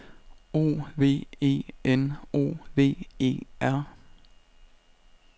O V E N O V E R